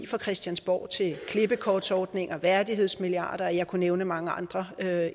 fra christiansborg til klippekortordninger værdighedsmilliarder og jeg kunne nævne mange andre